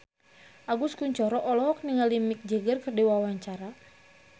Agus Kuncoro olohok ningali Mick Jagger keur diwawancara